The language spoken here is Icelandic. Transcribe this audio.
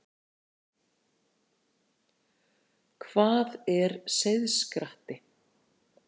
Hvað er seiðskratti?